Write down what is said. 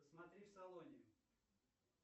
посмотри в салоне